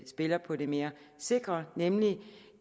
spiller på det mere sikre nemlig